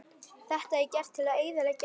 Þetta er gert til að eyðileggja þig